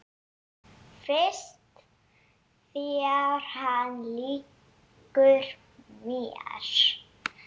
Finnst þér hann líkur mér?